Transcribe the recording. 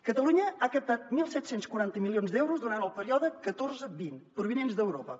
catalunya ha captat disset quaranta milions d’euros durant el període catorze vint provinents d’europa